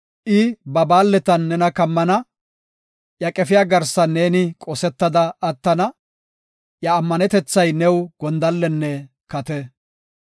I ba baalletan nena kammana; iya qefiya garsan neeni qosetada attana; iya ammanetethay new gondallenne kate.